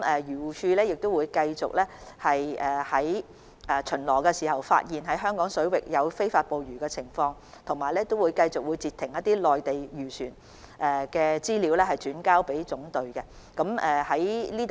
漁護署會繼續在巡邏時查看香港水域是否有非法捕魚情況，亦會繼續將未能截停的內地漁船資料轉交總隊。